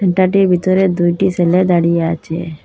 ভিতরে দুইটি সেলে দাঁড়িয়ে আচে।